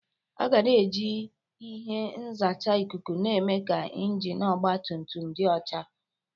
Aga na-eji ihe nzacha ikuku na-eme ka injin ọgba tum tum dị ọcha.